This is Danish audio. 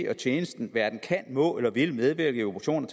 og tjenesten hverken kan må eller vil medvirke i operationer